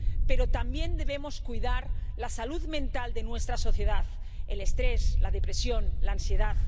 Pero también debemos cuidar la salud mental de nuestra sociedad el estrés, la depresión, la ansiedad.